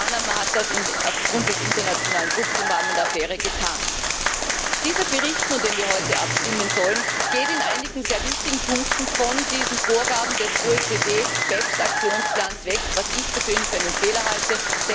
Selbst Panama hat das aufgrund des internationalen Drucks im Bann der Affäre getan. Dieser Bericht nun, über den wir heute abstimmen sollen, geht in einigen sehr wichtigen Punkten von diesen Vorgaben des OECD BEPS Aktionsplans weg, was ich persönlich für einen Fehler halte.